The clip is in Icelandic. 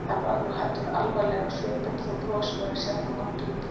Hann varð nú heldur alvarlegri á svipinn þó brosið væri sjaldan langt undan.